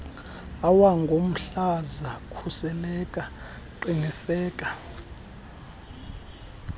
awangomhlaza khuseleka qiniseka